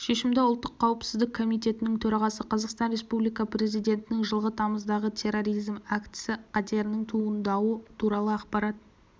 шешімді ұлттық қауіпсіздік комитетінің төрағасы қазақстан республикасы президентінің жылғы тамыздағы терроризм актісі қатерінің туындауы туралы ақпарат